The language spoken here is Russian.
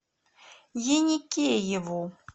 еникееву